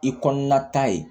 I kɔnɔna ta ye